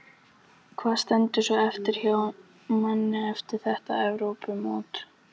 Hvað stendur svo eftir hjá manni eftir þetta Evrópumót?